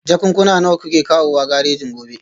Jakunkuna nawa kuke kawowa garejin gobe?